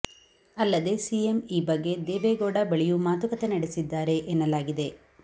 ಅಲ್ಲದೇ ಸಿಎಂ ಈ ಬಗ್ಗೆ ದೇವೇಗೌಡ ಬಳಿಯೂ ಮಾತುಕತೆ ನಡೆಸಿದ್ದಾರೆ ಎನ್ನಲಾಗಿದೆ